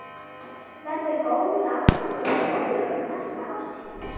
Verður góður afgangur á fjárlögum næsta árs, Heimir?